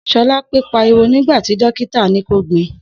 Sholape pàríwò nigbàtí dọkità ni kọ gbin